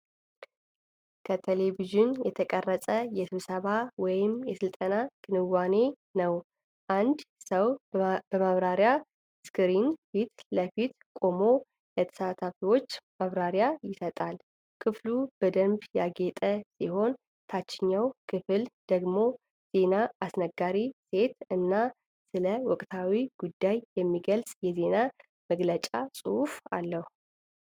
ከቴሌቪዥን የተቀረጸ የስብሰባ ወይም የሥልጠና ክንዋኔ ነው። አንድ ሰው በማብራሪያ ስክሪን ፊት ለፊት ቆሞ ለተሳታፊዎች ማብራሪያ ይሰጣል። ክፍሉ በደንብ ያጌጠ ሲሆን፣ ታችኛው ክፍል ደግሞ ዜና አስነጋሪ ሴት እና ስለ ወቅታዊ ጉዳይ የሚገልጽ የዜና መግለጫ ጽሑፍ አለ።